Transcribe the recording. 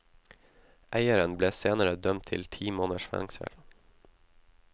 Eieren ble senere dømt til ti måneders fengsel.